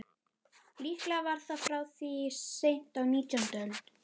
Líklega var það frá því seint á nítjándu öld.